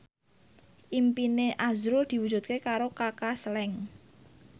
impine azrul diwujudke karo Kaka Slank